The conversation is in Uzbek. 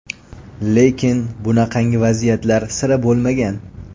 Lekin bunaqangi vaziyatlar sira bo‘lmagan.